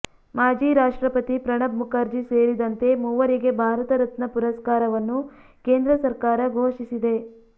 ಮಾಜಿ ರಾಷ್ಟ್ರಪತಿ ಪ್ರಣಬ್ ಮುಖರ್ಜಿ ಸೇರಿದಂತೆ ಮೂವರಿಗೆ ಭಾರತ ರತ್ನ ಪುರಸ್ಕಾರವನ್ನು ಕೇಂದ್ರ ಸರ್ಕಾರ ಘೋಷಿಸಿದೆ